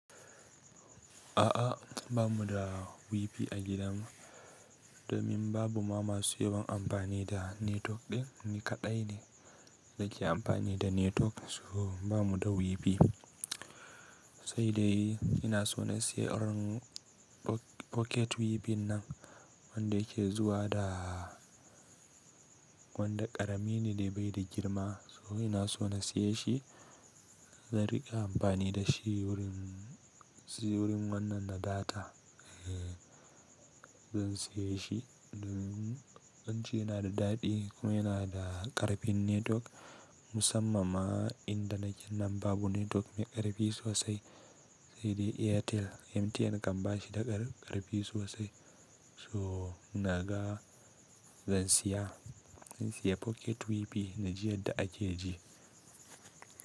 A'a, ba mu da wifi a gidan mu, domin babu mama masu yawan amfani da netwok ɗin, ni kaɗai ne na ke amfani da netwok, so ba mu da wifi. Sai dai ina so na sayi irin ock pocket wifi nan wanda yake zuwa da, wanda ƙarami ne dai bai da girma, so ina so na saye shi, zan riƙa amfani da shi wurin, wurin wannan na data. Ee zan siya shi domin an ce yana da daɗi kuma yana da ƙarfin netwok musamman ma inda naken nan babu netwok mai ƙarfi sosai. Sai dai Airtel, MTN kam ba shi da kar ƙarfi sosai. So ina ga zan siya, zan siya pocket wifi na ji yadda ake ji.